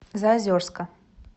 заозерска